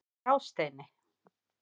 Grásteini